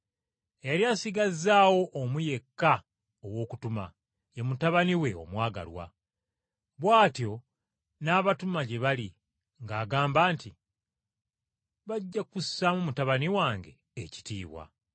“Yali asigazzaawo omu yekka ow’okutuma, ye mutabani we omwagalwa. Bw’atyo n’amutuma gye bali ng’agamba nti, ‘Bajja kussaamu mutabani wange ekitiibwa.’